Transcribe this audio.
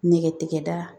Nɛgɛtigɛbaa